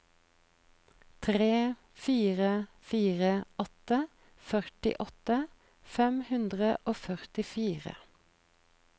tre fire fire åtte førtiåtte fem hundre og førtifire